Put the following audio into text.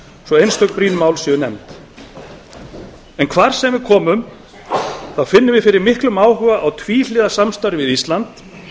brýn mál séu nefnd hvar sem við komum finnum við fyrir miklum áhuga á tvíhliða samstarfi við ísland